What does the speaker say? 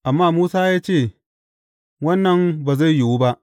Amma Musa ya ce, Wannan ba zai yiwu ba.